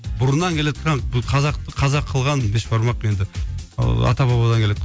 бұрыннан келатқан қазақты қазақ қылған бешбармақ енді ыыы ата бабадан келеатқан